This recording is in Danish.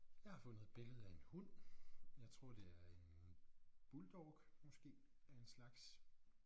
Jeg har fundet et billede af en hund jeg tror det er en bulldog måske af en slags